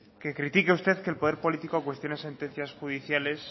que critique usted que el poder político cuestione sentencias judiciales